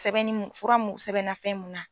Sɛbɛnni mun fura mun sɛbɛnna fɛn mun na.